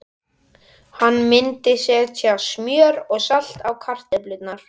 Hann myndi setja smjör og salt á kartöflurnar.